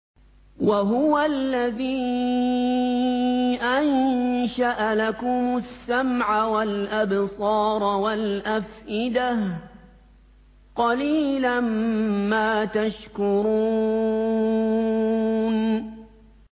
وَهُوَ الَّذِي أَنشَأَ لَكُمُ السَّمْعَ وَالْأَبْصَارَ وَالْأَفْئِدَةَ ۚ قَلِيلًا مَّا تَشْكُرُونَ